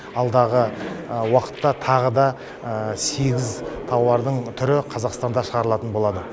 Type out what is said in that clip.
алдағы уақытта тағы да сегіз тауардың түрі қазақстанда шығарылатын болады